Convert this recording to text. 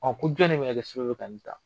A ko jɔn de bɛ na kɛ sababu ye ka ni ta.